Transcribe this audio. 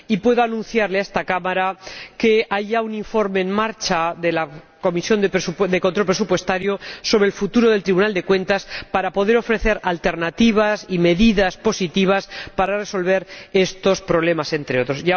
Y puedo anunciarle a esta Cámara que hay ya un informe en marcha de la Comisión de Control Presupuestario sobre el futuro del Tribunal de Cuentas para poder ofrecer alternativas y medidas positivas para resolver estos problemas, entre otros.